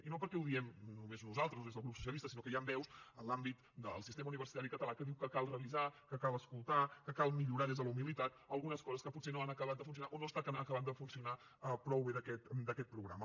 i no perquè ho diem només nosaltres des del grup socialista sinó que hi han veus en l’àmbit del sistema universitari català que diuen que cal revisar que cal escoltar que cal millorar des de la humilitat algunes coses que potser no han acabat de funcionar o no estan acabant de funcionar prou bé d’aquest programa